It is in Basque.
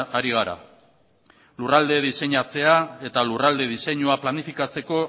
ari gara lurralde diseinatzea eta lurralde diseinua planifikatzeko